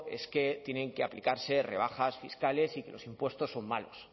es que tienen que aplicarse rebajas fiscales y que los impuestos son malos